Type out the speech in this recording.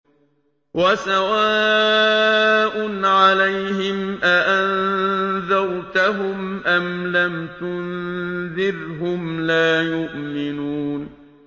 وَسَوَاءٌ عَلَيْهِمْ أَأَنذَرْتَهُمْ أَمْ لَمْ تُنذِرْهُمْ لَا يُؤْمِنُونَ